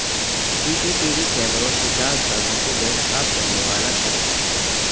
سی C T V کیمروں سے جعل سازوں کو بے نقاب کرنے والا شخص